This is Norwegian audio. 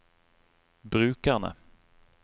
brukerne